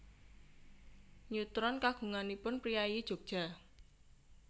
Neutron kagunganipun priyayi Jogja